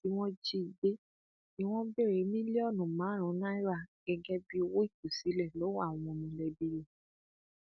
lẹyìn tí wọn jí i gbé ni wọn béèrè mílíọnù márùnún náírà gẹgẹ bíi owó ìtúsílẹ lọwọ àwọn mọlẹbí rẹ